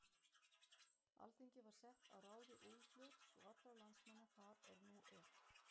Alþingi var sett að ráði Úlfljóts og allra landsmanna þar er nú er.